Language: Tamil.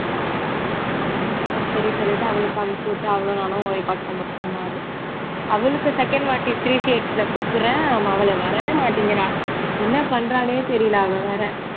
ஹம் சரி சொல்லிட்டு அவளுக்கு அனுப்ச்சி விட்டா அவளும் நானும் record பண்னோம் one hour அவளுக்கு second வாட்டி கூப்புடுறேன் மவளே வரவே மாட்டிங்குறா என்ன பண்றானே தெரியல அவ வேற